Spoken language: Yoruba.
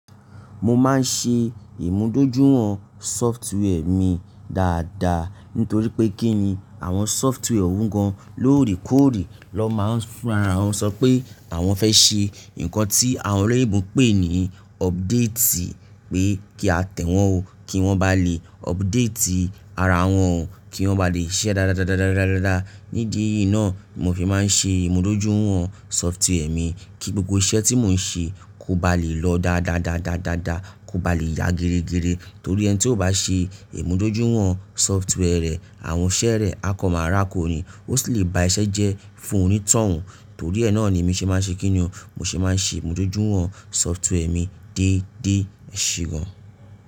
Mo máa ń ṣe ìmúdójúìwọ̀n sọftíwẹ́ mi dáadáa. Nítorí pé kí ni àwọn sọftíwẹ́ ò hun gan lóòrèkóòrè ló máa ń sọ pé àwọn fẹ́ ṣe nǹkan tí àwọn ọ̀rẹ́ ìbọn pè ní ọbdéètì pé kí a tẹ̀ wọ́n o kí wọ́n ba lè ọbdéètì ara wọn o kí wọ́n ba lè iṣẹ́ dáadáa. Nídi yi náà ni mo fi máa ń ṣe ìmúdójúìwọ̀n sọftíwẹ́ mi kí gbogbo iṣẹ́ tí mò ń ṣe kó ba lè lọ dáadáa kó ba lè ya gẹrẹ́gẹrẹ. Nítorí ẹni tí ó bá ṣe ìmúdójúìwọ̀n sọftíwẹ́ rẹ̀ àwọn iṣẹ́ rẹ̀ á kan máa rákò ni ó sì lè ba iṣẹ jẹ́ fún onítọ̀hún. Nítorí ẹ náà ni mo ṣe máa ń ṣe kí ni o mo ṣe máa ń ṣe ìmúdójúìwọ̀n sọftíwẹ́ mi déédé eṣe gan.